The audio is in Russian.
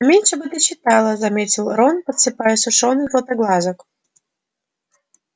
поменьше бы ты читала заметил рон подсыпая сушёных златоглазок